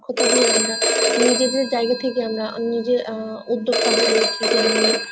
তা দিয়ে আমরা নিজেদের যায়গা থেকে আমরা নিজের আহ উদ্যোক্তা হয়ে উঠি যেমন